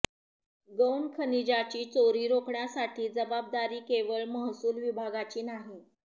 गौणखनिजाची चोरी रोखण्याची जबाबदारी केवळ महसूल विभागाची नाही